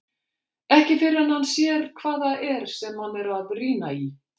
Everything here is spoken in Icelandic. Ekki fyrr en hann sér hvað það er sem hann er að rýna í.